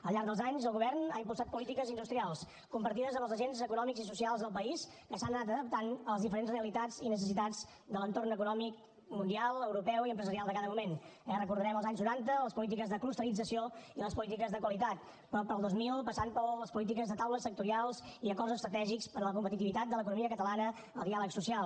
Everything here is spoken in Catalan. al llarg dels anys el govern ha impulsat polítiques industrials compartides amb els agents econòmics i socials del país que s’han anat adaptant a les diferents realitats i necessitats de l’entorn econòmic mundial europeu i empresarial de cada moment eh recordarem els anys noranta les polítiques de clusterització i les polítiques de qualitat però pel dos mil passant per les polítiques de taules sectorials i acords estratègics per a la competitivitat de l’economia catalana el diàleg social